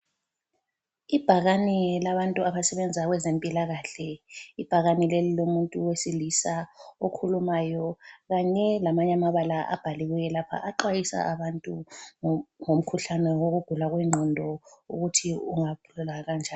Ibhakane labantu abasebenza kwezempilakahle. Ibhakane leli lilomuntu wesilisa okhulumayo kanye lamanye amabala abhaliweyo lapha. Axhwayisa abantu ngumkhuhlane wokugula kwengqondo ukuthi ung aqatshelwa kanjani.